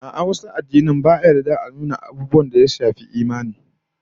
A'a, wasu addinan ba yarda a nuna wasu abin da ya shafi imani